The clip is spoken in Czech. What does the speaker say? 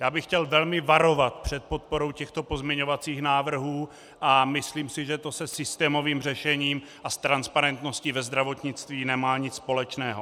Já bych chtěl velmi varovat před podporou těchto pozměňovacích návrhů a myslím si, že to se systémovým řešením a s transparentností ve zdravotnictví nemá nic společného.